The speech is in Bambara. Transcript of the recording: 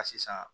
A sisan